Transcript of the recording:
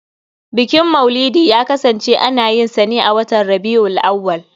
Bukin maulidi ya kasance ana yin sa ne a watan Rabi'ul Awwal.